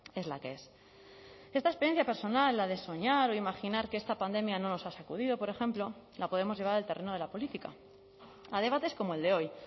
es la que es esta experiencia personal la de soñar o imaginar que esta pandemia no nos ha sacudido por ejemplo la podemos llevar al terreno de la política a debates como el de hoy